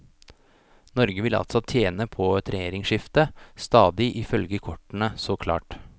Norge vil altså tjene på et regjeringsskifte, stadig ifølge kortene så klart.